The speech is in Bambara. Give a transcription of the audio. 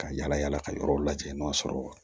Ka yala yala ka yɔrɔw lajɛ n'o sɔrɔ